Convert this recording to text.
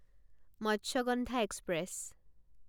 Matsyagandha express